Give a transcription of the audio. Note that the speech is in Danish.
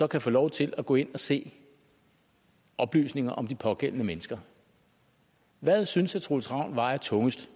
kan få lov til at gå ind og se oplysninger om de pågældende mennesker hvad synes herre troels ravn vejer tungest